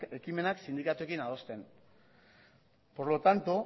ekimenak sindikatuekin adosten por lo tanto